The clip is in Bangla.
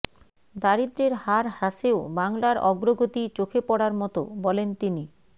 দারিদ্রের হার হ্রাসেও বাংলার অগ্রগতি চোখে পড়ার মতো বলেন তিনি